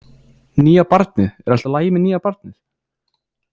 Nýja barnið, er allt í lagi með nýja barnið?